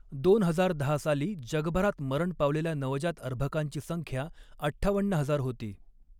दोन हजार दहा साली जगभरात मरण पावलेल्या नवजात अर्भकांची संख्या अठ्ठावन्न हजार होती.